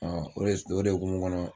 Ɔ o de hukumu kɔnɔ